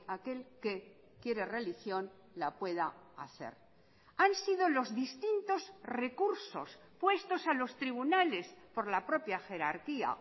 aquel que quiere religión la pueda hacer han sido los distintos recursos puestos a los tribunales por la propia jerarquía